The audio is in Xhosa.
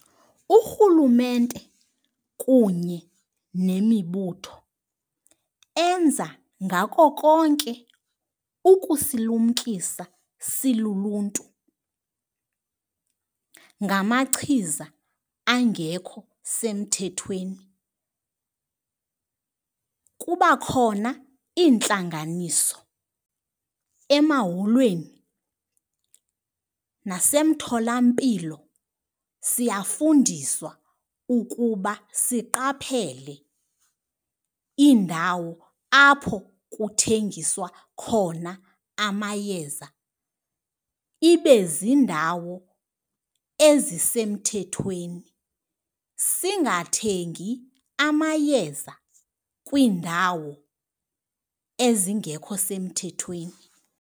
Urhulumente kunye nemibutho enza ngako konke ukusilumkisa siluluntu ngamachiza angekho semthethweni. Kuba khona iintlanganiso emaholweni, nasemtholampilo siyafundiswa ukuba siqaphele iindawo apho kuthengiswa khona amayeza. Ibe ziindawo ezisemthethweni, singathengi amayeza kwiindawo ezingekho semthethweni.